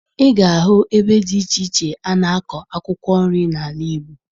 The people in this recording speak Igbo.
Ị ga-ahụ ebe dị iche iche a na-akọ akwụkwọ nri n'ala Igbo